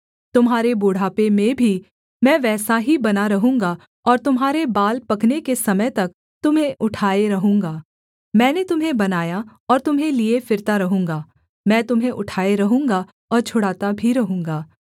तुम्हारे बुढ़ापे में भी मैं वैसा ही बना रहूँगा और तुम्हारे बाल पकने के समय तक तुम्हें उठाए रहूँगा मैंने तुम्हें बनाया और तुम्हें लिए फिरता रहूँगा मैं तुम्हें उठाए रहूँगा और छुड़ाता भी रहूँगा